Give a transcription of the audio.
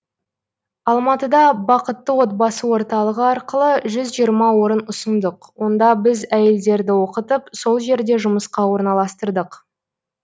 алматыда бақытты отбасы орталығы арқылы жүз жиырма орын ұсындық онда біз әйелдерді оқытып сол жерде жұмысқа орналастырдық